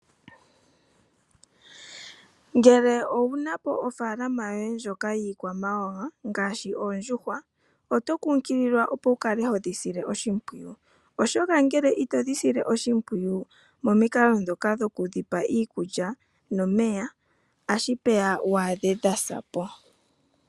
Ngele owunapo ofaalama yoye ndjoka yiikwamawawa ngaashi oondjuhwa oto kunkililwa opo wukale hodhi sile oshimpwiyu oshoka ngele otodhi sile oshimpwiyu momikalo dhoka dhoku dhipa iikulya nomeya ashipeya waadhe dhasapo.